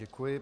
Děkuji.